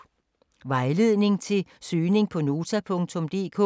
Vejledning til søgning på Nota.dk: